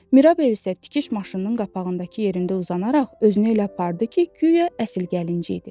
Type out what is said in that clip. Mirabel isə tikiş maşınının qapağındakı yerində uzanaraq özünü elə apardı ki, guya əsl gəlinci idi.